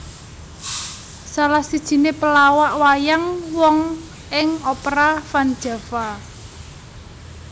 Salah sijiné pelawak wayang wong ing Opera Van Java